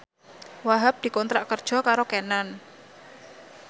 Wahhab dikontrak kerja karo Canon